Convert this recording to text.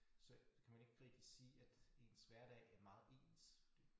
Så kan man ikke rigtig sige at ens hverdag er meget ens fordi